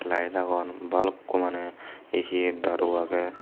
light agon balukku maneh he he daru agey.